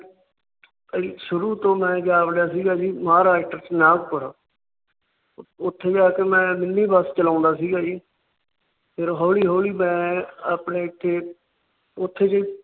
ਸ਼ੁਰੂ ਤੋਂ ਮੈ ਜਾ ਵੜਿਆ ਸੀ ਜੀ ਮਹਾਰਾਸ਼ਟਰ ਨਾਗਪੁਰ। ਉੱਥੇ ਜਾ ਕੇ ਮੈ ਮਿੰਨੀ ਬੱਸ ਚਲਾਉਂਦਾ ਸੀ ਗਾ ਜੀ । ਫਿਰ ਹੋਲੀ ਹੋਲੀ ਮੈ ਆਪਣੇ ਇੱਥੇ